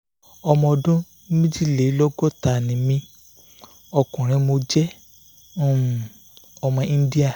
ọmọ ọdún méjìlélọ́gọ́ta ni mí ọkùnrin mo jẹ́ um ọmọ íńdíà